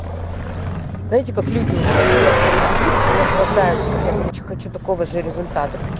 знаете как люди вот они некоторые бегут и наслаждаются вот я короче хочу такого же результата